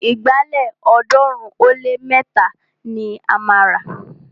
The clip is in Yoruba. Ìgbálẹ̀ ọ̀ọ́dúnrún ó lé mẹ́ta ni a máa rà